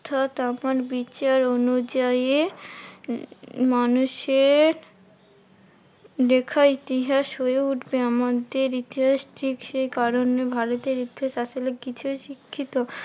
অর্থাৎ আমার বিচার অনুযায়ী মানুষের লেখা ইতিহাস হয়ে উঠবে আমাদের ইতিহাস। ঠিক সেই কারণে ভারতের ইতিহাস আসলে কিছু শিক্ষিত